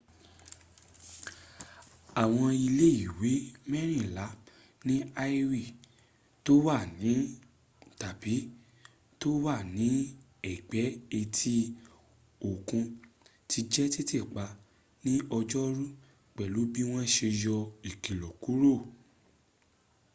àwọn ilé ìwé mẹ́rìnlà ní hawaii tó wà ní tàbí tó wà ní ẹ̀gbẹ́ etí òkun ti jẹ́ títìpa ní ọjọ́rú pẹ̀lú bí wọ́n ṣe yọ ìkìlọ̀ kúrò